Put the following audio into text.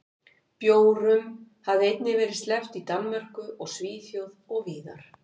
Bjórum hefur einnig verið sleppt í Danmörku og Svíþjóð og víðar.